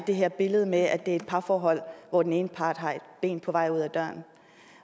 det her billede med at det er et parforhold hvor den ene part har et ben på vej ud af døren